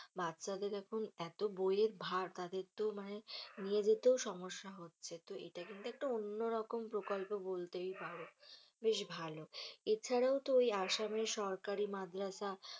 বাচ্ছাদের এখন এতো বইয়ের ভার তাদের তো মানে নিয়ে যেতেও সমস্যা হচ্ছে, তো এটা কিন্তু একটা অন্য রকম প্রকল্প বলতেই হবে বেশ ভালো এছাড়াও তো ওই আসামে সরকারী মাদ্রাসা,